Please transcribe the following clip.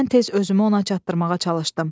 Mən tez özümü ona çatdırmağa çalışdım.